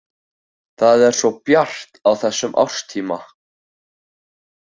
Það er svo bjart á þessum árstíma.